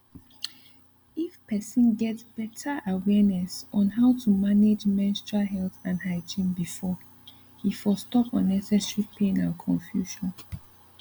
if person get better awareness on how to manage menstrual health and hygiene before e for stop unnecessary pain and confusion